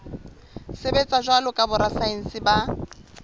sebetsa jwalo ka borasaense ba